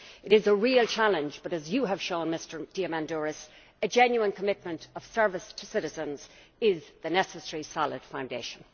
It is a real challenge, but as you have shown, Mr Diamandouros, a genuine commitment of service to citizens is the necessary solid foundation.